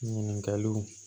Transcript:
Ɲininkaliw